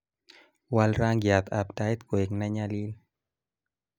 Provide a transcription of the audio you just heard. wal rangiat ab tait koek ne nyalil